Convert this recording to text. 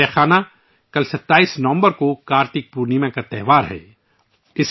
میرے پریوار جنو ، کل 27 نومبر کو ، کارتک پورنیما کا تہوار ہے